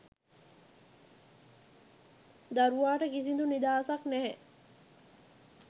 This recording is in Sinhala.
දරුවාට කිසිඳු නිදහසක් නැහැ.